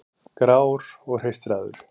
Grár og hreistraður.